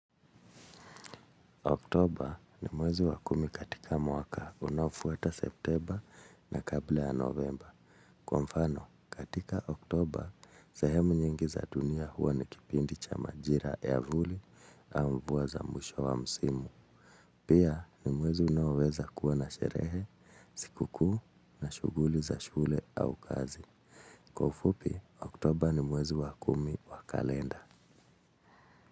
Oktoba ni mwezi wa kumi katika mwaka unaofuata septemba na kabla ya novemba. Kwa mfano, katika oktoba, sehemu nyingi za dunia huwa ni kipindi cha majira ya vuli au mvua za mwisho wa msimu. Pia ni mwezi unaoweza kuwa na sherehe, sikukuu na shuguli za shule au kazi. Kwa ufupi, oktoba ni mwezi wa kumi wa kalenda.